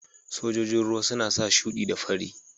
Sojojin ruwa suna sa shudi da fari.